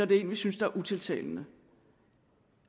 det er en vi synes er utiltalende